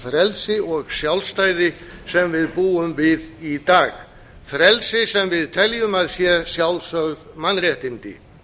frelsi og sjálfstæði sem við búum við í dag frelsi sem við teljum að séu sjálfsögð mannréttindi